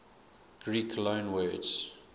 greek loanwords